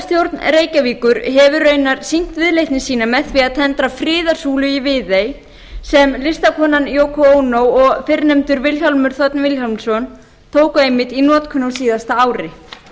borgarstjórn reykjavíkur hefur raunar sýnt viðleitni sína með því að tendra friðarsúlu í viðey sem listakonan yoko ono og fyrrnefndur vilhjálmur þ vilhjálmsson tóku einmitt í notkun á síðasta